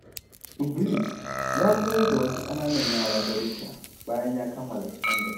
Idris ya koyar da wasu ƙananan yara darussa bayan ya kammala sakandare.